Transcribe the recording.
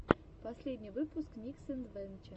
последний выпуск никсэдвэнче